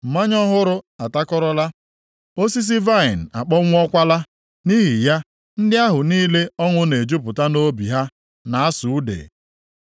Mmanya ọhụrụ atakọrọla, osisi vaịnị akpọnwụọkwala, nʼihi ya, ndị ahụ niile ọṅụ na-ejupụta nʼobi ha na-asụ ude.